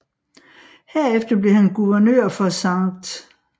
Herefter blev han guvernør for St